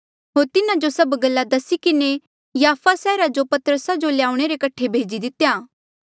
होर तिन्हा जो सभ गल्ला दसी किन्हें याफा सैहरा जो पतरसा जो ल्याऊणे रे कठे भेजी दितेया